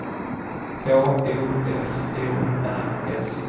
H O F O R S